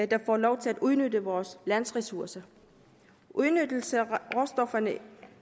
der får lov til at udnytte vores lands ressourcer udnyttelse af råstofferne